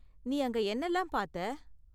நீ அங்க என்னலாம் பாத்த?